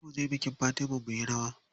Za muje bikin Fatima muyi rawa.